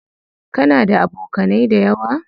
Kana da abokanai dayawa?